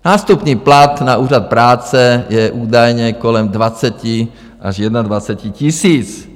Nástupní plat na úřad práce je údajně kolem 20 až 21 tisíc.